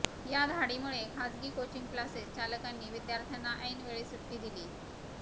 या धाडीमुळे खाजगी कोचिंग क्लासेस चालकांनी विद्यार्थ्यांना ऐनवेळी सुट्टी दिलीय